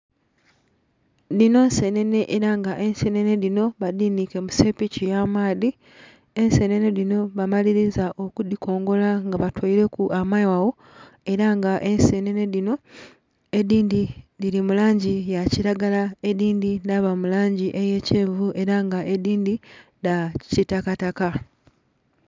Dhino nsenene era nga ensenene dhino badhanike mu sepiki ya maadhi, ensenene dhino bamaliliza okudhikongola nga batoireku amaghagha era nga ensenene dhino edindhi dhili mu langi eya kilagala edindhi dhaba mu langi eye kyenvu era nga edindhi dha kitakataka.